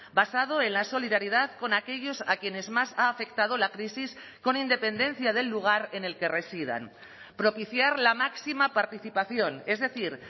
basado en la solidaridad con aquellos a quienes más ha afectado la crisis con independencia del lugar en el que residan propiciar la máxima participación es decir